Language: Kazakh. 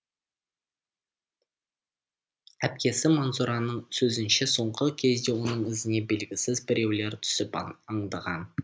әпкесі манзураның сөзінше соңғы кезде оның ізіне белгісіз біреулер түсіп аңдыған